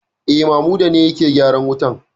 E, Mamuda ne yake gyaran wutan.